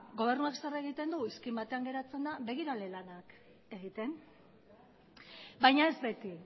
gobernuak zer egiten du iskin batean geratzen da begirale lanak egiten baina ez beti